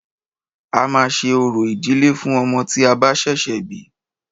A máà ṣe orò ìdílé fún ọmọ tí a bá ṣẹ̀ṣẹ̀ bí.